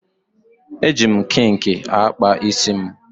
Eji m kinki akpa isi m.